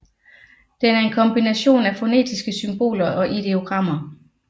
Den er en kombination af fonetiske symboler og ideogrammer